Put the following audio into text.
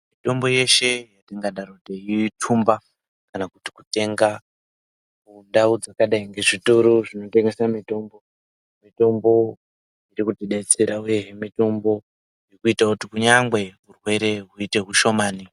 Mitombo yeshe yatingadaro teitumba kana kuti kutenga kundau dzakadai ngezvitoro zvinotengese mitombo mitombo irikutidetserawe mitombo irikuita kuti kunyangwe urwere huite hushomani.